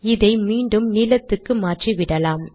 இதை மீண்டும் நீலத்துக்கு மாற்றிவிடலாம்